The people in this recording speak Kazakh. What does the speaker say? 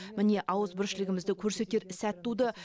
міне ауызбіршілігімді көрсетер сәт туды